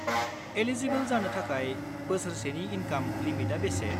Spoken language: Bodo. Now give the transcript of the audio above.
एलिजिबोल जानो थाखाय बोसोरसेनि इनकाम लिमिटआ बेसे?